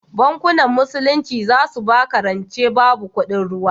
Bankin musulunci zasu baka rance babu kuɗin ruwa